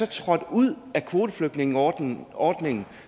trådt ud af kvoteflygtningeordningen